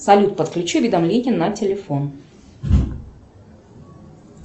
салют подключи уведомления на телефон